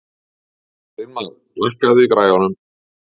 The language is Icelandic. Steinmar, lækkaðu í græjunum.